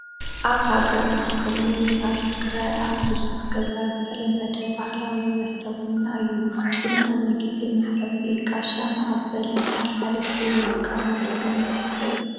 ኣብ ሃገርና ከምኡ ውን ኣብ ትግራይ ኣብ ብዙሕ ገዛ ዝተለመደ ባህላዊ መስተ ቡና እዩ፡፡ ቡና ንጊዜ መሕለፊ፣ ጋሻ መቐበልን ሓላሓሊፉ ውን ከም ወልፊ ዝስተ እዩ፡፡፡፡